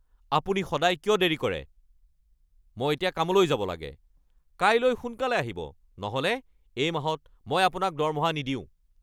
আপুনি সদায় কিয় দেৰি কৰে? মই এতিয়া কামলৈ যাব লাগে! কাইলৈ সোনকালে আহিব নহ'লে এই মাহত মই আপোনাক দৰমহা নিদিওঁ।